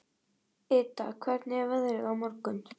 Ida, hvernig er veðrið á morgun?